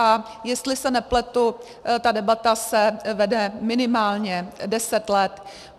A jestli se nepletu, ta debata se vede minimálně deset let.